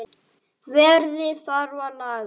Veðrið þarf að laga.